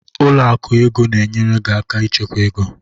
Ụlọ akụ ego na-enyere gị aka ịchekwa ego.